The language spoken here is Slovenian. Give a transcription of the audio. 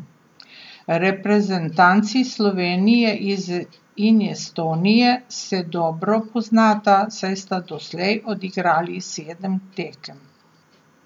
Reprezentanci Slovenije in Estonije se dobro poznata, saj sta doslej odigrali sedem tekem.